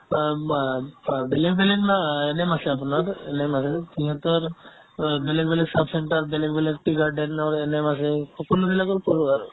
of অ অ বেলেগ বেলেগ না ANM আছে আপোনাৰ ANM আছে সিহঁতৰ অ বেলেগ বেলেগ sub centre বেলেগ বেলেগ tea garden ৰ ANM আছে সকলো বিলাকৰ কৰো আৰু